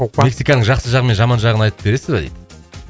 мексиканың жақсы жағы мен жаман жағын айтып бересіз ба дейді